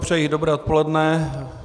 Přeji dobré odpoledne.